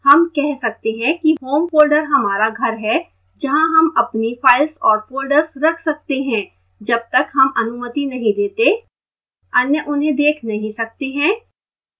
home कह सकते हैं कि home folder हमारा घर है जहाँ home अपनी files और folders रख सकते हैं जब तक home अनुमति नहीं देते अन्य उन्हें देख नहीं सकते हैं